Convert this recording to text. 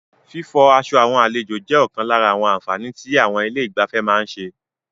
Fífọ aṣọ àwọn àlejò jẹ́ ọ̀kan lára àwọn àǹfààní tí àwọn ilé ìgbafẹ́ má ń ṣe.